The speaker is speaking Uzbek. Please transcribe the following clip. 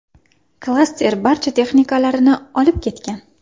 Klaster barcha texnikalarini olib ketgan.